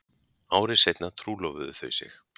Ári seinna trúlofuðu þau sig